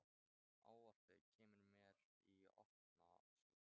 Ávarpið kemur mér í opna skjöldu.